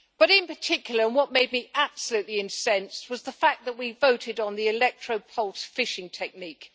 In particular, what made me absolutely incensed was the fact that we voted on the electro pulse fishing technique.